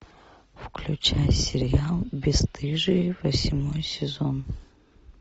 включай сериал бесстыжие восьмой сезон